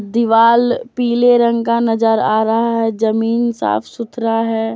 दीवाल पीले रंग का नजर आ रहा है जमीन साफ सुथरा है।